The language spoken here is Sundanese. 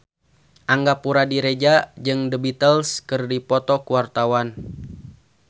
Angga Puradiredja jeung The Beatles keur dipoto ku wartawan